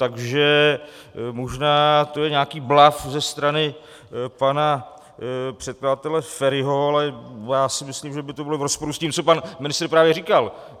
Takže možná to je nějaký bluf ze strany pana předkladatele Feriho, ale já si myslím, že by to bylo v rozporu s tím, co pan ministr právě říkal.